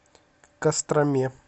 костроме